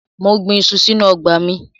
Mo gbin iṣu sínú ọgbà mi.